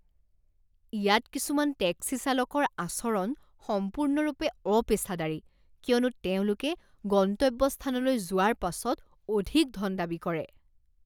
ইয়াত কিছুমান টেক্সি চালকৰ আচৰণ সম্পূৰ্ণৰূপে অপেচাদাৰী কিয়নো তেওঁলোকে গন্তব্যস্থানলৈ যোৱাৰ পাছত অধিক ধন দাবী কৰে।